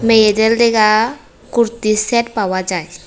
মেয়েদের লইগা কুর্তির সেট পাওয়া যায়।